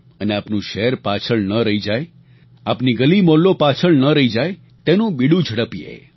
અને આપનું શહેર પાછળ ન રહી જાય આપની ગલી મહોલ્લો પાછળ ન રહી જાય તેનું બીડું ઝડપીએ